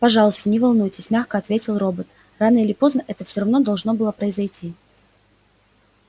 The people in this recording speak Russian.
пожалуйста не волнуйтесь мягко ответил робот рано или поздно это всё равно должно было произойти